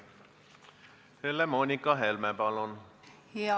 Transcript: Helle-Moonika Helme, palun!